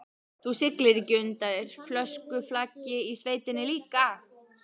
Þú siglir ekki undir fölsku flaggi í sveitinni líka?